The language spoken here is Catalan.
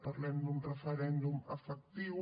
parlem d’un referèndum efectiu